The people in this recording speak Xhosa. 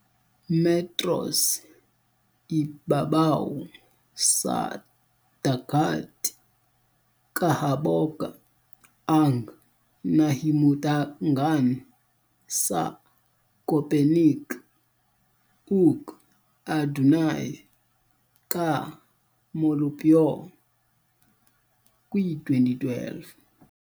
metros ibabaw sa dagat kahaboga ang nahimutangan sa Köpenick, ug adunay ka molupyo, kwi2012.